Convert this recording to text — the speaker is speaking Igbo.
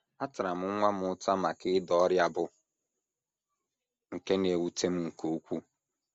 Atara m nwa m ụta maka ịda ọrịa bụ́ nke na - ewute m nke ukwuu. ”